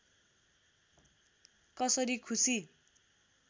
कसरी खुसी